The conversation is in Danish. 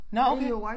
Nåh okay